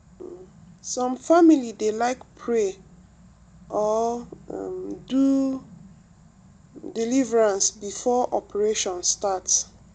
um some family dey like pray or um do deliverance before operation start.